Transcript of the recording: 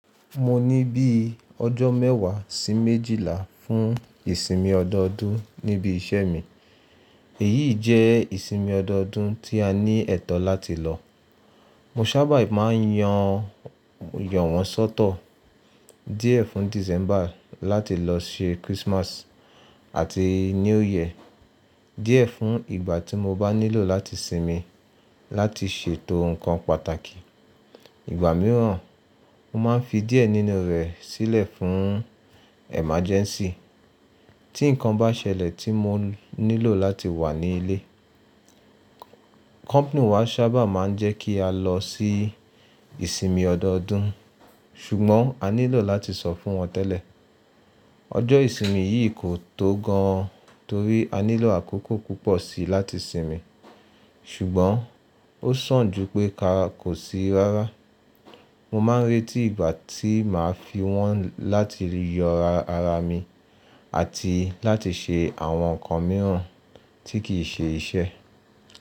Mo ní bí i ọjọ́ mẹ́wàá sí méjìlá fún ìsinmi ọdọọdún níbi iṣẹ́ mi. Èyí jẹ́ ìsinmi ọdọọdún tí a ní ẹ̀tọ́ láti lọ. Mo sábà máa ń yan yànwọ́n sọ́tọ̀ díẹ̀ fún December láti lọ ṣe Christmas àti New Year, díẹ̀ fún ìgbà tí mo bá nílò láti sinmi láti ṣètò nǹkan pàtàkì. Ìgbà mìíràn, mo máa ń fi díẹ̀ nínú rẹ̀ sílẹ̀ fún emergency tí nǹkan bá ṣẹlẹ̀ tí mo nílò láti wà ní ilé. Company wa sábà máa ń jẹ́ kí a lọ sí ìsinmi ọdọọdún ṣùgbọ́n a nílò láti sọ fún wọn tẹ́lẹ̀. Ọjọ́ ìsinmi yìí kò tó gan torí a nílò àkókò púpọ̀ síi láti sinmi ṣùgbọ́n ó sàn ju pé ká kò sí rárá. Mo máa ń retí ìgbà tí màá fi wọ́n láti yọ ara mi àti láti ṣe àwọn nǹkan mìíràn tí kì í ṣe iṣẹ́.